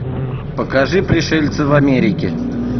покажи пришельцы в америке